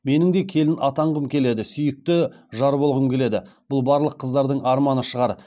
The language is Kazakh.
менің де келін атанғым келеді сүи ікті жар болғым келеді бұл барлық қыздардың арманы шығар